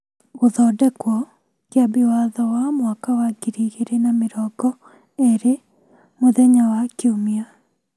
(Gũthondekwo) Kĩambi Watho wa mwaka wa ngiri igĩrĩ na mĩrongo erĩmũthenya wa Kiumia.